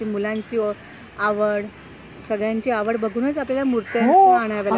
मुलांची आवड, सगळ्यांची आवड बघूनच आपल्याला मुर्त्या आणाव्या लागतील.